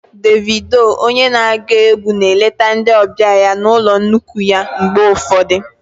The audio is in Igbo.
Davido onye na-agụ egwu na-eleta ndị ọbịa ya na ụlọ nnukwu ya mgbe ụfọdụ